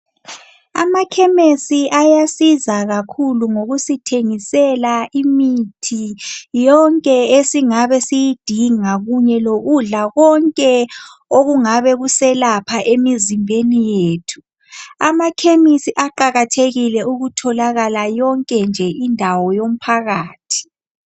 Amakhemesi ayasiza kakhulu ngokusithengisela imithi yonke esingabe siyidinga kunye lokudla konke okungaba kuselapha emzimbeni yethu. Amakhemisi aqakathekile ukutholakala yonke indawo yomphakathi.